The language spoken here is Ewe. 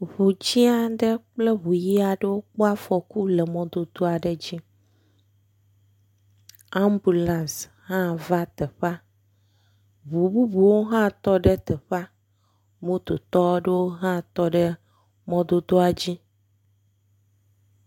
Eŋu dzɛ̃ aɖe kple eŋu ʋi aɖewo kpɔ afɔku le mɔdodo aɖe dzi, ambulance hã va teƒe, ŋu bubuwo hã va teƒe, mototɔ aɖewo hã tɔ ɖe mɔdodoa dzi.